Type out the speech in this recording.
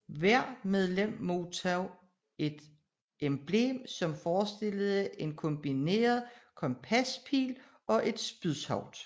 Hver medlem modtog et emblem som forestillede en kombineret kompaspil og et spydhoved